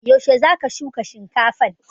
Yaushe za ka shuka shinkafan?